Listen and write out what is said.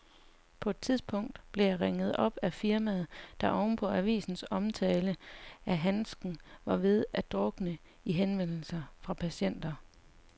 På et tidspunkt blev jeg ringet op af firmaet, der oven på avisens omtale af handsken var ved at drukne i henvendelser fra patienter.